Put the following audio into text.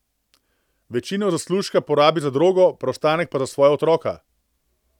Večino zaslužka porabi za drogo, preostanek pa za svoja otroka.